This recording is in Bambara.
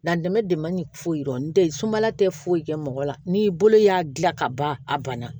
Latɛmɛ dama ni foyi tɛ sumaya tɛ foyi kɛ mɔgɔ la n'i bolo y'a gilan ka ban a ban na